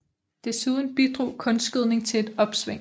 Desuden bidrog kunstgødning til et opsving